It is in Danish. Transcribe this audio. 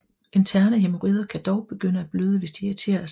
Interne hæmorider kan dog begynde at bløde hvis de irriteres